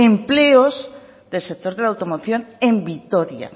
empleos del sector de la automoción en vitoria